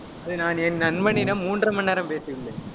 அது நான் என் நண்பனிடம், மூன்றரை மணி நேரம் பேசி உள்ளேன்